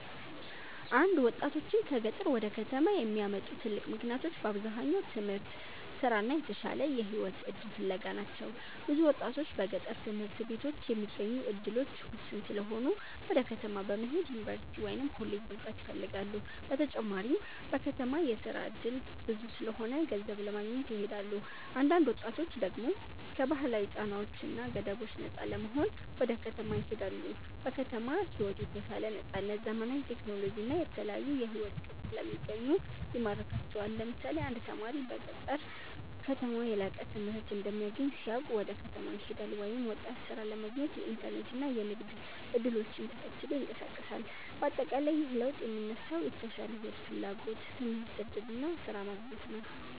1ወጣቶችን ከገጠር ወደ ከተማ የሚያመጡ ትልቅ ምክንያቶች በአብዛኛው ትምህርት፣ ስራ እና የተሻለ የህይወት እድል ፍለጋ ናቸው። ብዙ ወጣቶች በገጠር ትምህርት ቤቶች የሚገኙ እድሎች ውስን ስለሆኑ ወደ ከተማ በመሄድ ዩኒቨርሲቲ ወይም ኮሌጅ መግባት ይፈልጋሉ። በተጨማሪም በከተማ የስራ እድል ብዙ ስለሆነ ገንዘብ ለማግኘት ይሄዳሉ። አንዳንድ ወጣቶች ደግሞ ከባህላዊ ጫናዎች እና ገደቦች ነፃ ለመሆን ወደ ከተማ ይሄዳሉ። በከተማ ሕይወት የተሻለ ነፃነት፣ ዘመናዊ ቴክኖሎጂ እና የተለያዩ የሕይወት ቅጥ ስለሚገኙ ይማርካቸዋል። ለምሳሌ አንድ ተማሪ በገጠር ከተማ የላቀ ትምህርት እንደማይገኝ ሲያውቅ ወደ ከተማ ይሄዳል፤ ወይም ወጣት ሥራ ለማግኘት የኢንተርኔት እና የንግድ እድሎችን ተከትሎ ይንቀሳቀሳል። በአጠቃላይ ይህ ለውጥ የሚነሳው የተሻለ ሕይወት ፍላጎት፣ ትምህርት እድል እና ስራ ማግኘት ነው።